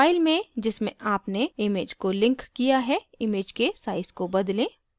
file में जिसमें आपने image को linked किया है image के size को बदलें